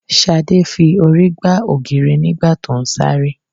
Ṣadé fi orí gbá ògiri nígbà tó ń sáré